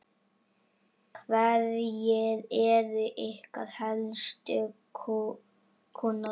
Hverjir eru ykkar helstu kúnnar?